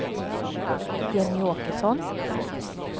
Jenny Åkesson